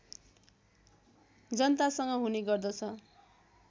जनतासँग हुने गर्दछ